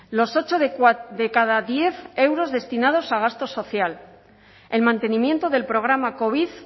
los ocho de cada diez euros destinados a gasto social el mantenimiento del programa covid